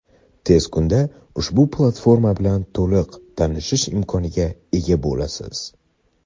Tez kunda ushbu platforma bilan to‘liqroq tanishish imkoniga ega bo‘lasiz!.